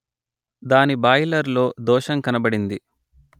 దాని బాయిలర్ లో దోషం కనబడింది